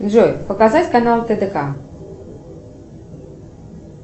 джой показать канал тдк